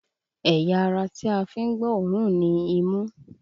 Ẹ̀yà ara tí a fi ń gbọ́ òórùn ni imú